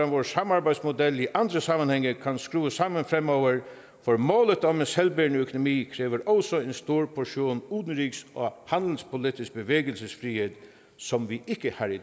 vores samarbejdsmodel i andre sammenhænge kan skrues sammen fremover for målet om en selvbærende økonomi kræver også en stor portion udenrigs og handelspolitisk bevægelsesfrihed som vi ikke har i